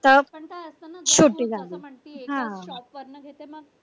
पण काय असते ना पण एखाद्या shop वरण घेते मग